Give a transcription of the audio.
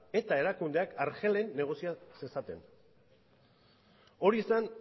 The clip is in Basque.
eta erakundeak argelen negozia zezaten hori zen